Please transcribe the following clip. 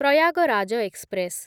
Prayagraj express